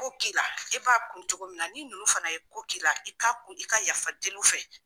ko k'i la e b'a kun cogo min na ni ninnu fana ye ko k'i la i k'a kun i ka yafa deli u fɛ.